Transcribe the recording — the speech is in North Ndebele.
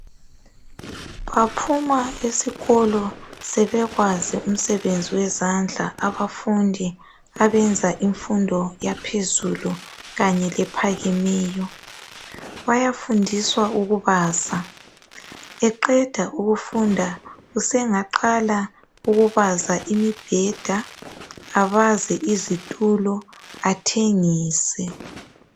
Baphuma esikolo sebekwazi umsebenzi wezandla abafundi abenza imfundo yaphezulu kanye lephakemeyo. Bayafundiswa ukubaza. Eqeda ukufunda usengaqala ukubaza imibheda abaze izitulo athengise.